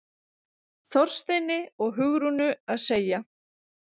Þorsteini og Hugrúnu að segja.